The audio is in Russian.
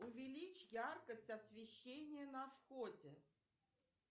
увеличь яркость освещения на входе